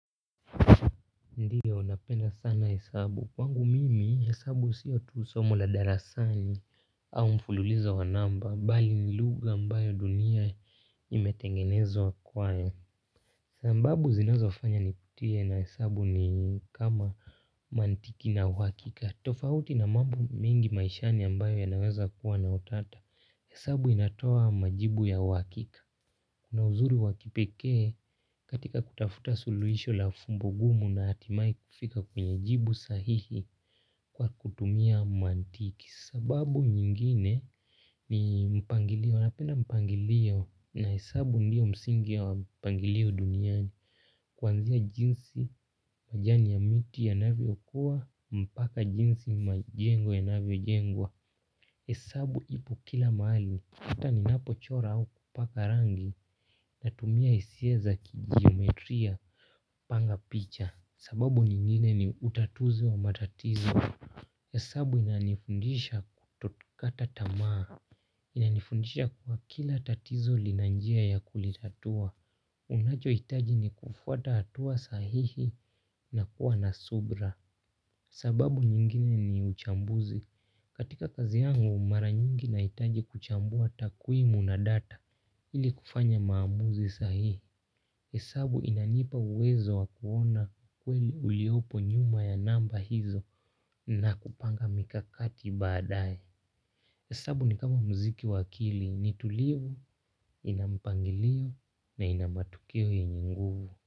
Ndiyo napenda sana hesabu. Kwangu mimi, hesabu siyo tu somo la darasani au mfululizo wa namba. Mbali ni lugha mbayo dunia imetengenezwa kwayo. Sambabu zinazofanya niputie na hesabu ni kama mantiki na wakika. Tofauti na mambo mingi maishani ambayo yanaweza kuwa na utata. Hesabu inatoa majibu ya uakika. Kuna uzuri wakipekee katika kutafuta suluhisho la fumbugumu na hatimai kifika kwenye jibu sahihi kwa kutumia mantiki. Sababu nyingine ni mpangilio napenda mpangilio na hesabu ndio msingi ya mpangilio duniani. Kwanzia jinsi majani ya miti yanavyo kuwa mpaka jinsi majengo yanavyo jengwa hesabu ipo kila maali, uta ninapo chora au kupaka rangi natumia isia za kijiometria panga picha. Sababu nyingine ni utatuzi wa matatizo hesabu inanifundisha kutokata tamaa. Inanifundisha kua kila tatizo lina njia ya kulitatua. Unacho itaji ni kufuata atua sahihi na kuwa na subra. Sababu nyingine ni uchambuzi. Katika kazi yangu mara nyingi naitaje kuchambua takuimu na data ili kufanya maamuzi sahihi hesabu inanipa uwezo wa kuona kweli uliopo nyuma ya namba hizo na kupanga mikakati baadae hesabu ni kama mziki wa akili ni tulivu, inampangilio na inamatukio yenye nguvu.